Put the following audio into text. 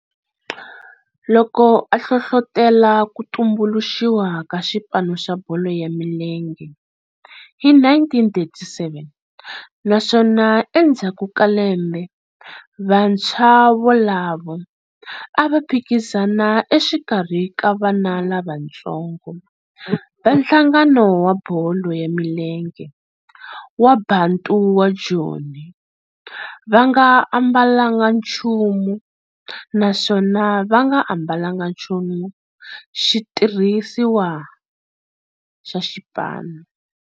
Loko a hlohlotela ku tumbuluxiwa ka xipano xa bolo ya milenge hi 1937 naswona endzhaku ka lembe vantshwa volavo a va phikizana exikarhi ka vana lavatsongo va nhlangano wa bolo ya milenge wa Bantu wa Joni va nga ambalanga nchumu naswona va nga ambalanga nchumu xitirhisiwa xa xipano.